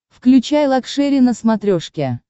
включай лакшери на смотрешке